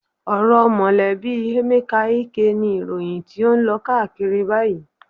Ọ̀rọ̀ mọ̀lẹ́bí Emeka Ike ni ìròyìn tó ń lọ káàkiri báyìí.